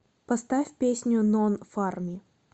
поставь песню нон фарми